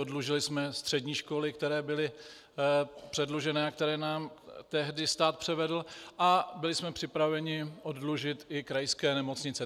Oddlužili jsme střední školy, které byly předlužené a které nám tehdy stát převedl, a byli jsme připraveni oddlužit i krajské nemocnice.